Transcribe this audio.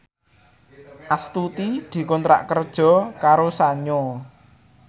Astuti dikontrak kerja karo Sanyo